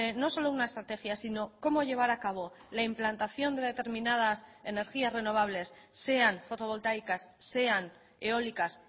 no solo una estrategia sino cómo llevar a cabo la implantación de determinadas energías renovables sean fotovoltaicas sean eólicas